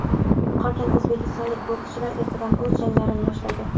Qolgan o‘zbekistonlik bokschilar ertadan o‘z janglarini boshlaydi .